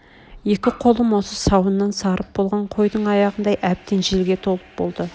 екі қолым осы сауыннан сарып болған қойдың аяғындай әбден желге толып болды